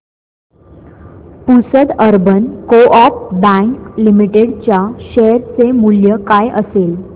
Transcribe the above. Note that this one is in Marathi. Pusad urban co-op bank limited च्या शेअर चे मूल्य काय असेल